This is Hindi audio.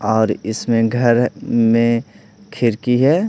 और इसमें घर में खिरकी है।